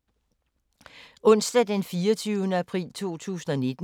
Onsdag d. 24. april 2019